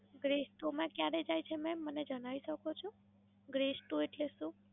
Bress two માં ક્યારે જાય છે મેમ મને જણાવી શકો? Bress two એટલે શું?